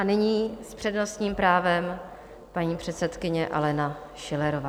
A nyní s přednostním právem paní předsedkyně Alena Schillerová.